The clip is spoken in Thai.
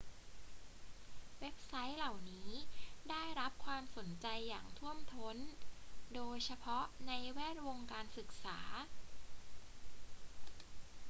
เว็บไซต์เหล่านี้ได้รับความสนใจอย่างท่วมท้น โดยเฉพาะในแวดวงการศึกษา